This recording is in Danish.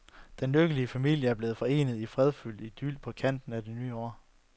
Den lykkelige familie blev forenet i fredfyldt idyl på kanten af et nyt år.